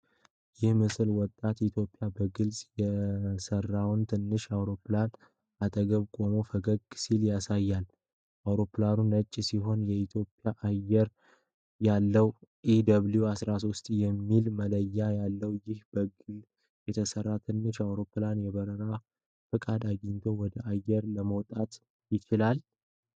ይህ ምስል ወጣት ኢትዮጵያዊ በግል የሰራውን ትንሽ አውሮፕላን አጠገብ ቆሞ ፈገግ ሲል ያሳያል። አውሮፕላኑ ነጭ ሲሆን የኢትዮጵያ አየር ያለው EW-13 የሚል መለያ አለው። ይህ በግል የተሰራ ትንሽ አውሮፕላን የበረራ ፍቃድ አግኝቶ ወደ አየር ለመውጣት ይችላልን?